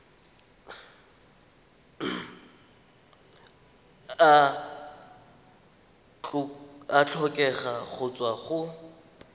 a tlhokega go tswa go